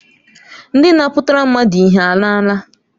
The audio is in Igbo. Ndị na-apụnara mmadụ ihe alaala?